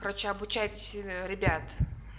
короче обучать ребят